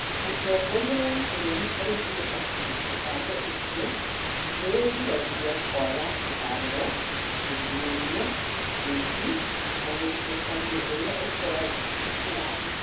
Mũtongoria wa bũrũri oigire atĩ mũbango ũcio nĩ ũgiragia kwaga kĩhaarĩro, ungumania, ũici na mũthutũkanio ũrĩa ũkoragwo na andũ.